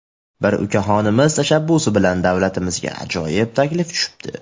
Bir ukaxonimiz tashabbusi bilan davlatimizga ajoyib taklif tushibdi.